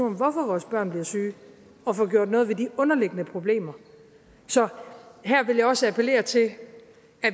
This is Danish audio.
om hvorfor vores børn bliver syge og få gjort noget ved de underliggende problemer så her vil jeg også appellere til at